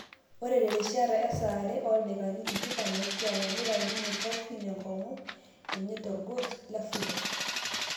Ore terishata esaare oldaikani tikitam opishana nitau ninye Chaufin enkung'u enye torgos le Fulod